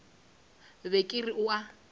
be ke re o a